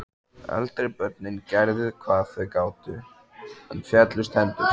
Eldri börnin gerðu hvað þau gátu, en féllust hendur.